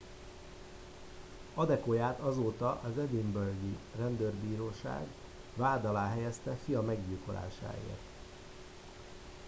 adekoyát azóta az edinburghi rendőrbíróság vád alá helyezte fia meggyilkolásáért